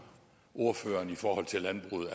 ordføreren i forhold til landbruget